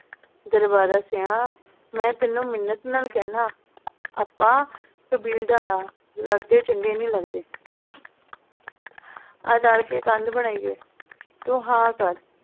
ਦਰਬਾਰਾ ਸਿੰਹਾ ਮੈ ਤੈਨੂੰ ਮਿੰਨਤ ਨਾਲ ਕਹਿੰਨਾ ਆਪਾਂ ਕਬੀਲਦਾਰ ਆ ਲੜਦੇ ਚੰਗੇ ਨਈ ਲੱਗਦੇ ਆ ਰਲਕੇ ਕੰਧ ਬਣਾਈਏ, ਤੂੰ ਹਾਂ ਕਰ